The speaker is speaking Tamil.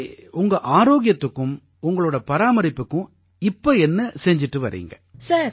சரி உங்க ஆரோக்கியத்துக்கும் உங்களோட பராமரிப்புக்கும் இப்ப என்ன செய்து வர்றீங்க